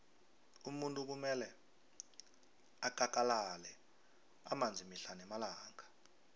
umuntu kumele akakalale amanzi mihle namalanga